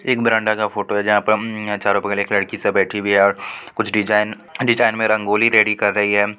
एक बरांडा का फोटो है जहां पर उम्म चारो बगल लड़की सब बैठी हुई है और कुछ डिजाइन डिजाइन में रंगोली रेडी कर रही है।